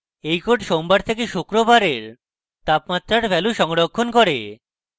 এই code সোমবার থেকে শুক্রবারের তাপমাত্রার ভ্যালু সংরক্ষণ করে